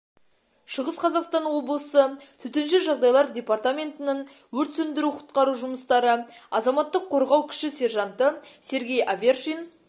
шығыс қазақстан облысы төтенше жағдайлар департаментінің өрт сөндіру-құтқару жұмыстары азаматтық қорғау кіші сержанты серге авершин